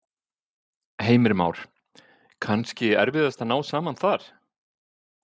Heimir Már: Kannski erfiðast að ná saman þar?